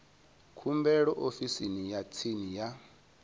khumbelo ofisini ya tsini ya